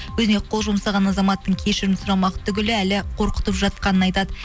өзіне қол жұмсаған азаматтың кешірім сұрамақ түгілі әлі қорқытып жатқанын айтады